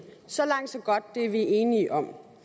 så langt så godt det er vi enige om